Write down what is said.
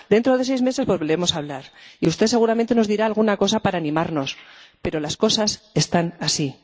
Dentro de seis meses volveremos a hablar y usted seguramente nos dirá alguna cosa para animarnos, pero las cosas están así.